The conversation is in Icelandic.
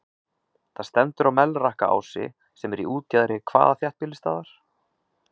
Það stendur á Melrakkaási, sem er í útjaðri hvaða þéttbýlisstaðar?